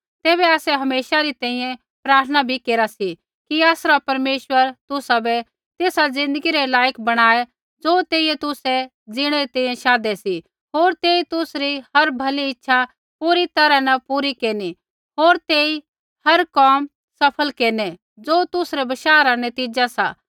तैबै आसै हमेशा तुसरी तैंईंयैं प्रार्थना भी केरा सी कि आसरा परमेश्वर तुसाबै तेसा ज़िन्दगी रै लायक बणाऐ ज़ो तेइयै तुसै जीणै री तैंईंयैं शाधै सी होर तेई तुसरी हर भली इच्छा पूरी तैरहा न पूरी केरनी होर तेई हर कोम सफल केरनै ज़ो तुसरै बशाह रा नतीज़ा सा